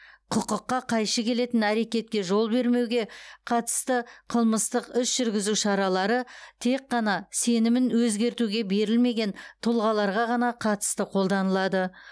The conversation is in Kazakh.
құқыққа қайшы келетін әрекетке жол бермеуге қатысты қылмыстық іс жүргізу шаралары тек қана сенімін өзгертуге берілмеген тұлғаларға ғана қатысты қолданылады